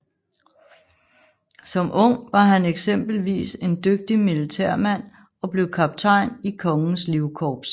Som ung var han eksempelvis en dygtig militærmand og blev kaptajn i Kongens Livkorps